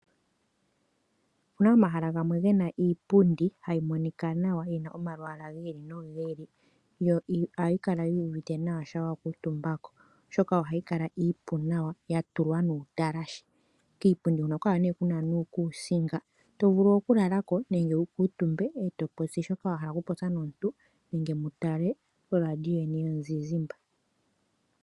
Opuna omahala gamwe gena iipundi hayi monika nawa gena omalwaala gi ili noku ili yo ohayi kala yi uvite nawa shampa wa kuutumba ko oshoka ohayi kala iipu nawa ya tulwa nuutalashe kiipundi huno ohaku kala nee kuna nuukusinga to vulu oku lala ko nenge wu kuutumbe eto popi shoka wa hala oku popya omuntu nenge mutale olaandiyo yeni you zizizmba.